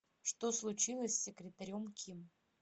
что случилось с секретарем ким